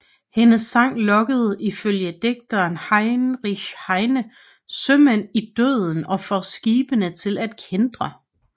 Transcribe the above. Hendes sang lokker ifølge digteren Heinrich Heine sømænd i døden og får skibene til at kæntre